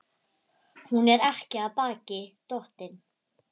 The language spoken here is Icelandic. Hann brosti enn breiðar og lét fluguna valsa um loftin.